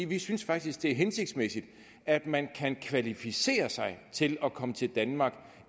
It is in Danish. vi synes faktisk det er hensigtsmæssigt at man kan kvalificere sig til at komme til danmark